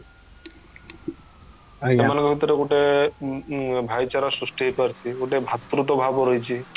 ସେମାନଙ୍କ ଭିତରେ ଗୋଟେ ଉଁ ଉଁ ଭାଇଚାରା ସୃଷ୍ଟି ହେଇପାରୁଚି ଗୋଟେ ଭାତୃତ୍ବ୍ୟଭାବ ରହିଚି